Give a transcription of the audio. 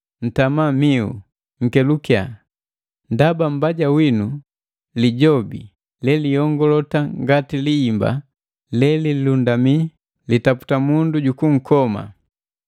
“Ntama mihu, nkelukiya! Ndaba mbaja winu, Lijobi leliyongalota ngati lihimba lelilundamii, litaputa mundu jukunkoma.